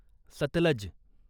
Sutlej